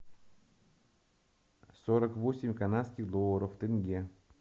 сорок восемь канадских долларов в тенге